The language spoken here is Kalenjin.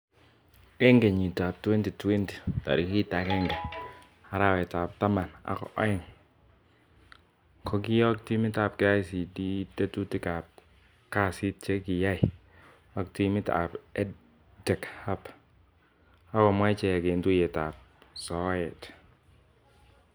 Eng kenyit ab 2020 ,tarik agenge arawet ab taman ak e'ng ,kokiyok timit ab KICD tetutik ab kasit che kiai ak timit ab EdTech Hub akomwaa ichek eng tuiyet ab soet.